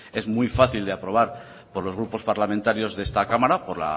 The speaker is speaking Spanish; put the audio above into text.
es muy fácil de aprobar por los grupos parlamentarios de esta cámara por